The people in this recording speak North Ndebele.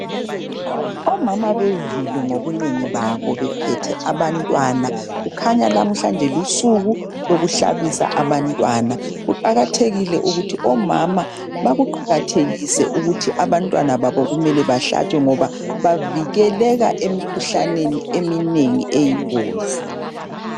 Omama benzile ngobunengi babo bephethe abantwana kukhanya namhlanje lusuku lokuhlabisa abantwana kuqakathekile ukuthi omama bakuqakathekise ukuthi abantwana babo kumele balatshwe ngoba bavikeleka emikhuhlaneni eminingi eyingozi